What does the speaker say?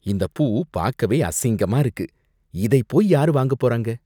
இந்தப் பூ பாக்கவே அசிங்கமா இருக்கு, இதைப் போயி யாரு வாங்கப் போறாங்க?